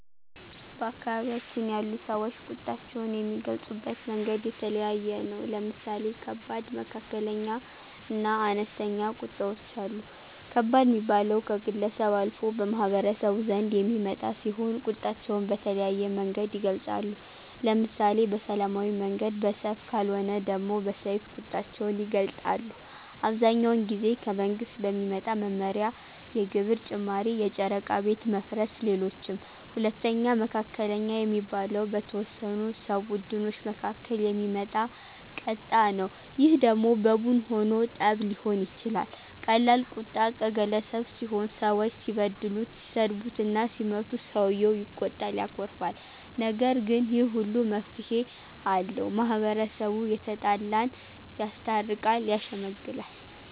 በአካባቢያችን ያሉ ሰወች ቁጣቸውን የሚገልፁበት መንገድ የተለያየ ነው። ለምሳሌ ከባድ፣ መካከለኛ እና አነስተኛ ቁጣወች አሉ። ከባድ ሚባለው ከግለሰብ አልፎ በማህበረሰቡ ዘንድ የሚመጣ ሲሆን ቁጣቸውን በተለያየ መንገድ ይገልፃሉ። ለምሳሌ በሰላማዊ መንገድ በሰልፍ ከልወነ ደሞ በሰይፍ ቁጣቸውን ይገልጣሉ። አብዛኛውን ጊዜ ከመንግስት በሚመጣ መመሪያ የግብር ጭማሪ የጨረቃ ቤት መፍረስ ሌሎችም። ሁለተኛው መካከለኛ የሚባለው በተወሰኑ ሰው ቡድኖች መካከል የሚመጣ ቀጣ ነው ይህ ደሞ በቡን ሁኖ ጠብ ሊሆን ይችላል ቀላል ቁጣ ቀገለሰብ ሲሆን ሰወች ሲበድሉት ሲሰድቡትና ሲመቱት ሰውየው ይቆጣል ያኮርፋል። ነገር ግን ይህ ሁሉ መፍትሄ አለው። ማህበረሰቡ የተጣላን ያስታርቃል። ያሸመግላል